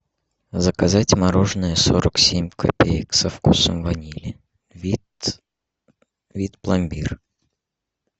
заказать мороженое сорок семь копеек со вкусом ванили вид вид пломбир